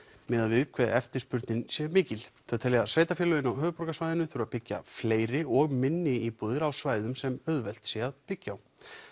miðað við hve eftirspurnin er mikil þau telja að sveitarfélögin á höfuðborgarsvæðinu þurfi að byggja fleiri og minni íbúðir á svæðum sem auðvelt sé að byggja á